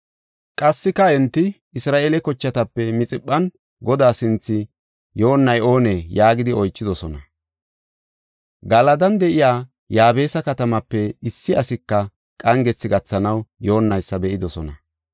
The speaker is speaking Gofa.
Qassika enti, “Isra7eele kochatape Mixiphan Godaa sinthe yoonnay oonee?” yaagidi oychidosona. Galadan de7iya Yaabesa katamaape issi asika qangethi gathanaw yoonnaysa be7idosona.